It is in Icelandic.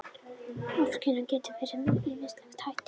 Ofskynjanir geta verið með ýmsum hætti.